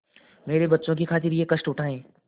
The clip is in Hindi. मेरे बच्चों की खातिर यह कष्ट उठायें